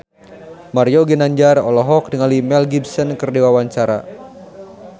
Mario Ginanjar olohok ningali Mel Gibson keur diwawancara